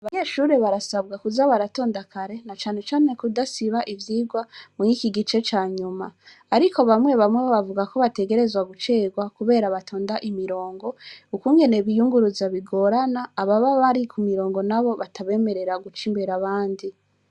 Abanyeshuri barasabwa kuza baratonda kare, na cane cane kudasiba ivyigwa, muri iki gice ca nyuma. Ariko bamwe bamwe bavuga ko bategerezwa gucerwa kubera batonda imirongo, ukungene biyunguruza bigorana, ababa bari ku mirongo na bo batabemerera guca imbere abandi.